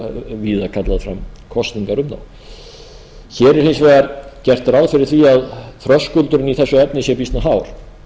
kallað fram kosningar um þá hér er hins vegar gert ráð fyrir því að þröskuldurinn í þessu efni sé býsna hár